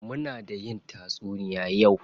Muna da yin tatsuniya yau.